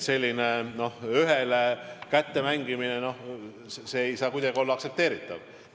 Selline ühele kätte mängimine ei saa kuidagi olla aktsepteeritav.